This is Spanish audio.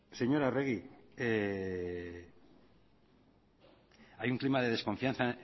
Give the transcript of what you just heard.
señora arregi hay un clima de desconfianza